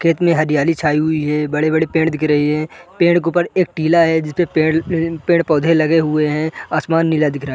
खेत में हरियाली छाई हुई है बड़े-बड़े पेड़ दिख रहे है पेड़ के ऊपर एक टीला है जिसपे पेड़ अ पेड़-पौधे लगे हुए है आसमान नीला दिख रहा है।